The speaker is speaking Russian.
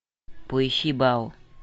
поищи бау